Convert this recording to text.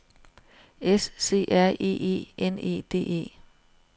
S C R E E N E D E